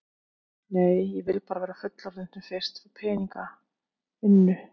Nei, ég vildi bara verða fullorðin sem fyrst, fá peninga, vinnu.